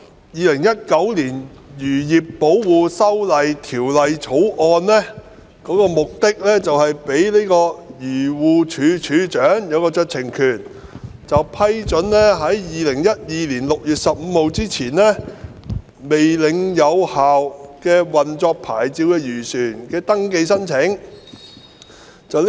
《2019年漁業保護條例草案》的目的是賦予漁農自然護理署署長酌情權，批准在2012年6月15日未領有有效運作牌照的漁船的登記申請。